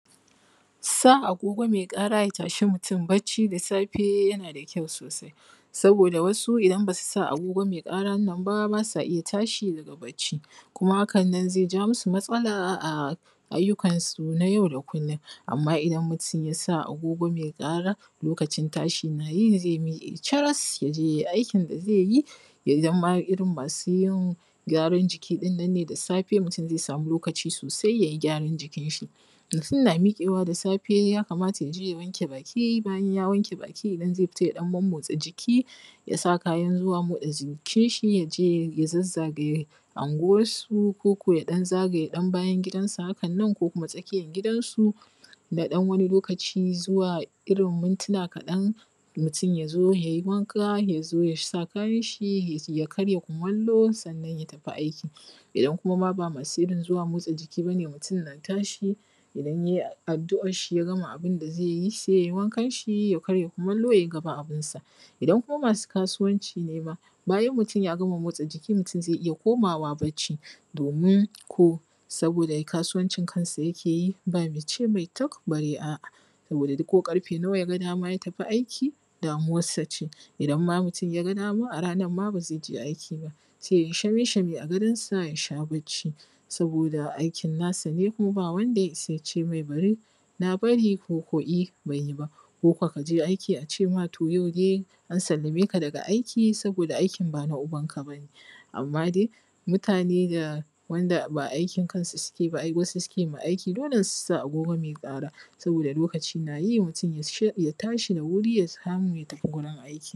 Sa agogoo mai ƙara ya tashi mutum bacci da safe yana da kyau sosai saboda wasu idan basu sa agogo mai ƙarar nan ba su iya tashi daga bacc kuma haka nan zai ja masu matsala a aiyukan su na yau da kullum amma idan mutum yasa agogo mai ƙara lokacin tashi na yi zai miƙee caras ya je yai aikin da zai yi, idan ma irin masu yin gyaran jikin ɗin nan ne da safe mutum zai sami lokaci sosai yayi gyaran jikin shi Mutum na miƙewa da safe ya kamata ya je ya wanke baki bayan ya wanke baki idan zai fitaa ya ɗan momotsa jiki yasa kayan motsa jikin shi ya je ya zazzagaye anguwansu ko ko ya ɗan zagaya bayan gidansa, haka nan ko kuma tsakiyan gidansu na ɗan wani lokaci zuwa mintuna kaɗan mutum ya zo yayi wanka ya zo yasa kayan shi ya karya kumallo sannan ya tafi aiki, idan kuma ba masu irin zuwa motsa jiki ba ne, mutum na tashi idan yai addu`ar shi ya gama abin da zai yi sai yai wankan shi ya karin kumallo yai gaba abin sa. Idan kuma masu kasuwancii ne bayan mutum ya gama motsa jiki mutum zai iya komawa bacci domin ko saboda kasuwancin kansa yake yi ba ma ice mai tik bare a`a saboda mutum ko ƙarfe nawa yaga dama ya tafi aiki damuwarsa ce, in ma mutum yaga dama a ranan ma ba zai je aiki ba zai yi shame shame a gidansa ya sha bacci saboda aikin nasa ne kuma ba wanda ya isa yace mai bari na bari ko yi ban yi ba ba ko ko kaje aiki a ce ma to yau dai an sallame ka daga aiki saboda aikin bana ubanka ba ne, amma dai mutane da wanda ba aikin kansu suke ba wasu suke ma aiki dole su sa agogoo mai ƙaraa saboda lokaci nayi mutum ya tashi da wuri ya samu ya tafi wurin aiki